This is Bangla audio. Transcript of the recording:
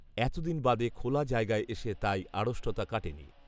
এতদিন বাদে খোলা জায়গায় এসে তাই আড়ষ্টতা কাটেনি